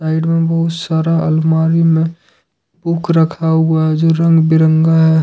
बहुत सारा अलमारी में बुक रखा हुआ है जो रंग बिरंगा है।